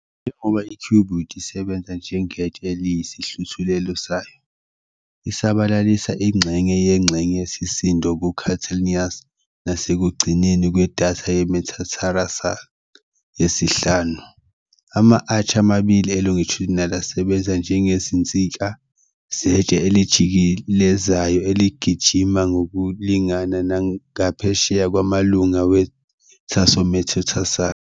Njengoba i-cuboid isebenza njengetshe eliyisihluthulelo sayo, isabalalisa ingxenye yengxenye yesisindo ku-calcaneus nasekugcineni kwedatha yemetararsal yesihlanu. Ama-arch amabili e-longitudinal asebenza njengezinsika zetshe elijikelezayo eligijima ngokulingana ngaphesheya kwamalunga we-tarsometatarsal.